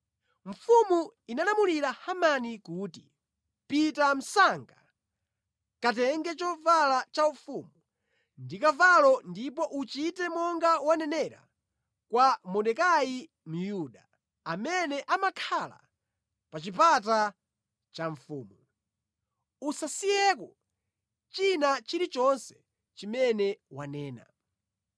Mfumu inalamulira Hamani kuti, “Pita msanga, katenge chovala cha ufumu ndi kavalo ndipo uchite monga wanenera kwa Mordekai Myuda, amene amakhala pa chipata cha mfumu. Usasiyeko china chilichonse chimene wanena.”